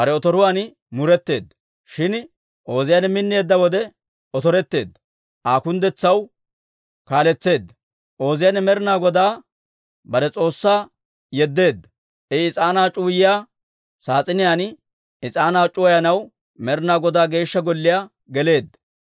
Shin Ooziyaane minneedda wode otoretteedda; Aa kunddetsaw kaaletseedda. Ooziyaane Med'inaa Godaa bare S'oossaa yedeedda; I is'aanaa c'uwayiyaa saas'iniyaan is'aanaa c'uwayanaw Med'inaa Godaa Geeshsha Golliyaa geleedda.